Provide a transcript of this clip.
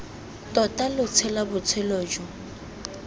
tota lo tshela botshelo jo